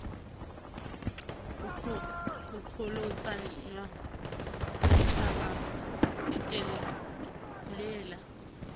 ho qholotsanwa ditjhaba di telela